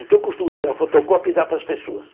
Então eu costumo tirar a fotocópia e dar para as pessoas.